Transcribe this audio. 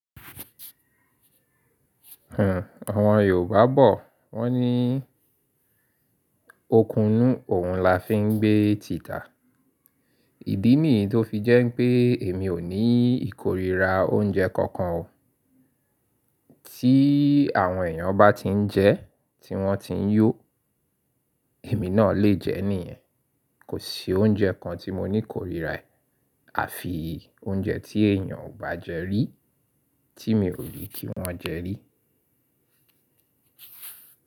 Hmm, àwọn Yorùbá bọ̀ wọ́n ní “okùnú òun la fi ń gbé tìtà”. Ìdí nìyí tó fi jẹ́ pé, èmi ò ní ìkórìíra, oúnjẹ kankan o. Tí àwọn èèyàn bá ti ń jẹ tí wọ́n ti ń yó, èmi náà lè jẹ níyẹn. Kò sí oúnjẹ kan tí mo ní kórìíra ẹ, àfi oúnjẹ tí èèyàn ò bá jẹ rí tí mi ò rí kí wọ́n jẹ rí.